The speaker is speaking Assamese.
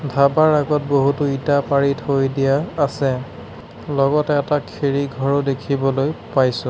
ধাবাৰ আগত বহুতো ইটা পাৰি থৈ দিয়া আছে লগতে এটা খেৰী ঘৰো দেখিবলৈ পাইছোঁ।